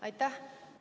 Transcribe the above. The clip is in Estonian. Aitäh!